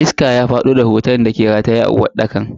Iska ya fado da hoton dake rataye a uwarɗakar.